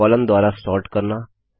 column द्वारा sort करना